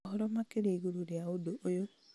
ũhoro makĩria igũrũ rĩa ũndũ ũyũ